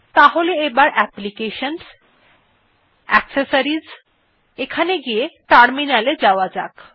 তাহলে আবার applications জিট্যাকসেসরিজ এ ফিরে গিয়ে টার্মিনাল এ যাওয়া যাক